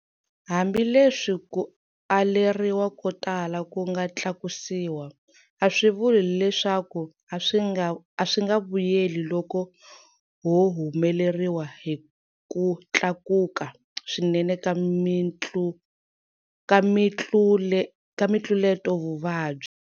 Hambileswi ku aleriwa ko tala ku nga tlakusiwa, a swi vuli leswaku a swi nga vuyeli loko ho humeleriwa hi ku tlakuka swinene ka mitluletovuvabyi.